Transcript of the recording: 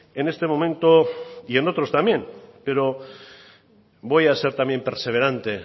en este momento y en otros también pero voy a ser también perseverante